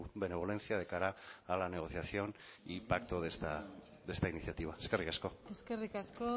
benevolencia de cara a la negociación y pacto de esta iniciativa eskerrik asko eskerrik asko